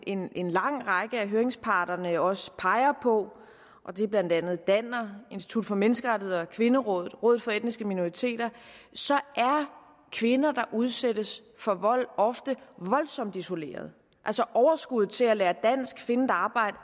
en en lang række af høringsparterne også peger på og det er blandt andet danner institut for menneskerettigheder kvinderådet rådet for etniske minoriteter er kvinder der udsættes for vold ofte voldsomt isolerede altså overskuddet til at lære dansk og finde et arbejde